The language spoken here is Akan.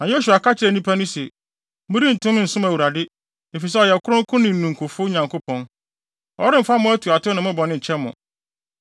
Na Yosua ka kyerɛɛ nnipa no se, “Morentumi nsom Awurade, efisɛ ɔyɛ kronkron ne ninkufo Nyankopɔn. Ɔremfa mo atuatew ne mo bɔne nkyɛ mo.